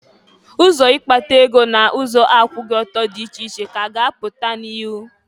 Ụzọ ikpata ego n'ụzọ akwụghị ọtọ dị iche iche ka a ga-apụta n'ihụ.